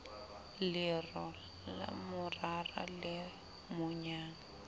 lero la morara le monyang